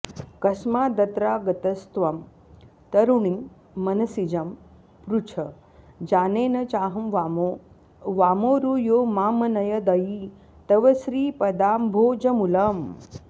कस्मादत्रागतस्त्वं तरुणि मनसिजं पृछ जाने न चाहं वामो वामोरु यो मामनयदयि तव श्रीपदाम्भोजमूलम्